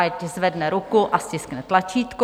Ať zvedne ruku a stiskne tlačítko.